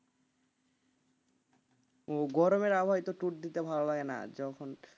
ও গরমের আবহাওয়া তো tour দিতে ভালো লাগে না যখন,